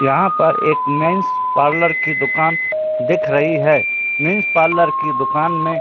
यहां पर एक मेंस पार्लर की दुकान दिख रही है मेंस पार्लर की दुकान में--